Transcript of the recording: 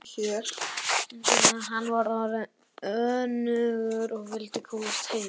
Hann var orðinn önugur og vildi komast heim.